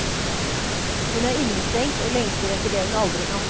Hun er innestengt og lengter etter det hun aldri kan få.